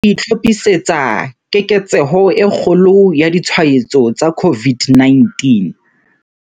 Mmuso o itlhophisetsa keketseho e kgolo ya ditshwaetso tsa COVID-19.